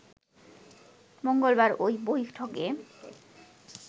মঙ্গলবার ওই বৈঠকে